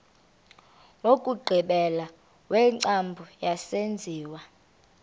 wokugqibela wengcambu yesenziwa